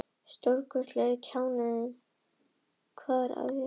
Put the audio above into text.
Hafi hann verið að vona að einhver myndi segja að það væri töggur í stráknum!